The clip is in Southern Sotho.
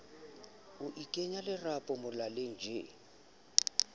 ho ikenya lerapo molaleng tjee